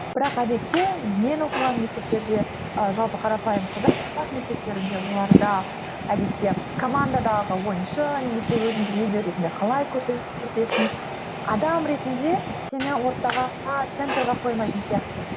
бірақ әдетте мен оқыған мектептерде ы жалпы қарапайым қазақ мектептерінде оларда әдетте командадағы ойыншы немесе өзіңді лидер ретінде қалай көрсетесің адам ретінде сені ортаға центрге қоймайтын сияқты